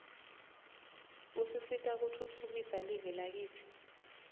usisita kutfutfukisa live lakitsi